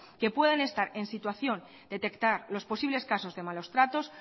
que puedan estar en situación de detectar los posibles casos de malos tratos